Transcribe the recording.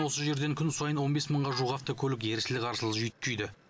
осы жерден күн сайын он бес мыңға жуық автокөлік ерсілі қарсылы жүйткиді